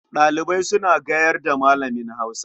Ɗalibai suna gayar da Malamin Hausa.